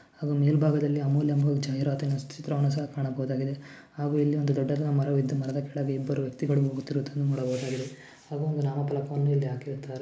ಅದು ಮೇಲ್ಭಾಗದಲ್ಲಿ ಅಮೂಲ್ಯ ಜಾಹಿರಾತ್ ಎನ್ನು ಸ್ಥಿ ಚಿತ್ರವನ್ನ ಸಹ ಕಾಣಬಹುದಾಗಿದೆ ಹಾಗು ಇಲ್ಲಿ ಒಂದು ದೊಡ್ಡದಾದ ಮರವಿದ್ದು ಮರದ ಕೆಳಗೆ ಇಬ್ಬರು ವ್ಯಕ್ತಿಗಳು ಹೋಗುತ್ತಿರುವುದನ್ನು ನೋಡಬಹುದಾಗಿದೆ ಹಾಗು ಒಂದು ನಾಮ ಪಲಕವನ್ನು ಇಲ್ಲಿ ಹಾಕಿರುತ್ತಾರೆ.